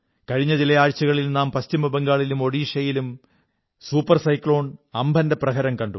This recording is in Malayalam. കഴിഞ്ഞ ചില ആഴ്ചകളിൽ നാം പശ്ചിമബംഗാളിലും ഓഡീശയിലും സൂപർ സൈക്ലോൺ ഉംപുനിന്റെ പ്രഹരം കണ്ടു